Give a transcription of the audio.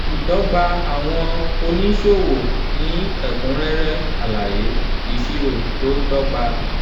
ìdọ́gba àwọn oníṣòwò ní ẹ̀kúnrẹ́rẹ́ alaye ìṣirò tó dọ́gba.